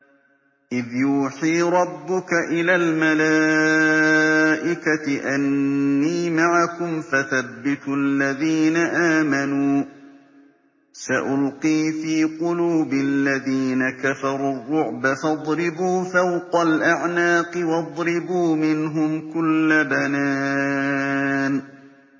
إِذْ يُوحِي رَبُّكَ إِلَى الْمَلَائِكَةِ أَنِّي مَعَكُمْ فَثَبِّتُوا الَّذِينَ آمَنُوا ۚ سَأُلْقِي فِي قُلُوبِ الَّذِينَ كَفَرُوا الرُّعْبَ فَاضْرِبُوا فَوْقَ الْأَعْنَاقِ وَاضْرِبُوا مِنْهُمْ كُلَّ بَنَانٍ